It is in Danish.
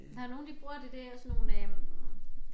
Der nogle de bruger det der sådan nogle øh